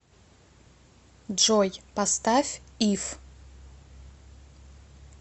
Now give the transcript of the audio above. джой поставь иф